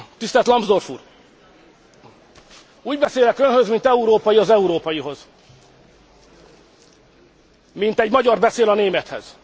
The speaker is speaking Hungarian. Tisztelt Lambsdorff úr, úgy beszélek önhöz, mint európai az európaihoz, mint egy magyar beszél a némethez.